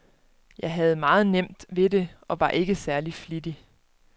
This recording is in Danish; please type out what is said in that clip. Jeg havde meget nemt ved det og var ikke særlig flittig.